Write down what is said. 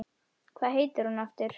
Hvað heitir hún aftur?